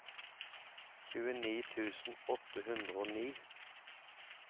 tjueni tusen åtte hundre og ni